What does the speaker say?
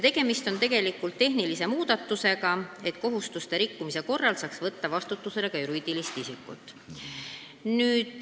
Tegemist on tegelikult tehnilise muudatusega, et kohustuste rikkumise korral saaks võtta vastutusele ka juriidilist isikut.